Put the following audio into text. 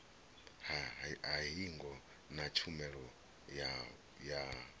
ha hingo na tshumelo ya